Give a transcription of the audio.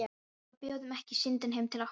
Og við bjóðum ekki Syndinni heim til okkar.